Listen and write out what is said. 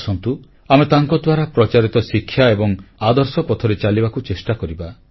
ଆସନ୍ତୁ ଆମେ ତାଙ୍କଦ୍ୱାରା ପ୍ରଚାରିତ ଶିକ୍ଷା ଏବଂ ଆଦର୍ଶ ପଥରେ ଚାଲିବାକୁ ଚେଷ୍ଟା କରିବା